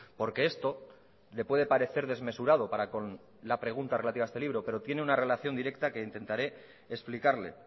porque esto le puede parecer desmesurado para con la pregunta relativa a este libro pero tiene una relación directa que intentaré explicarle